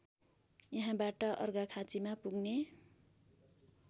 यहाँबाट अर्घाखाँचिमा पुग्ने